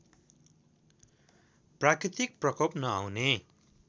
प्राकृतिक प्रकोप नआउने